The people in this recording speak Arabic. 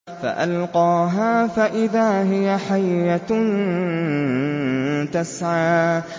فَأَلْقَاهَا فَإِذَا هِيَ حَيَّةٌ تَسْعَىٰ